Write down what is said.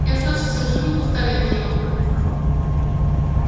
и оставшиеся в живых устали от нее